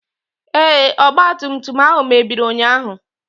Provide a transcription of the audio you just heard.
Ee, ọgba tum tum ahụ mebiri ụnyaahụ.